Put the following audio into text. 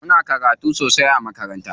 Muna karatu sosai a makaranta.